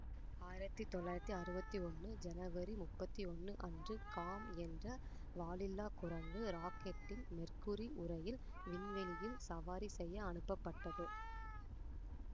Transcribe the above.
ஆயிரத்தி தொள்ளாயிரத்தி அறுவத்தி ஒன்னு ஜனவரி முப்பத்தி ஒன்னு அன்று காம் என்ற வாலில்லா குரங்கு ராக்கெட்டின் மெர்க்குரி உறையில் விண்வெளியில் சவாரி செய்ய அனுப்பப்பட்டது